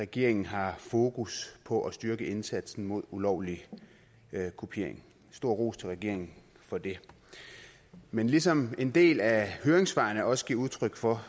regeringen har fokus på at styrke indsatsen mod ulovlig kopiering stor ros til regeringen for det men ligesom en del af høringssvarene også giver udtryk for